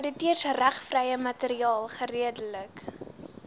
outeursregvrye materiaal geredelik